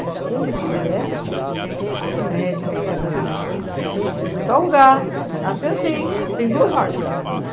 A esposa dele, essa que está aqui, esse médico, que está com esse médio aqui ela estuda em tal lugar, assim, assim, e tem duas vagas.